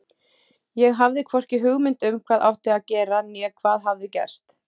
Ég hafði hvorki hugmynd um hvað átti að gera né hvað hafði gerst.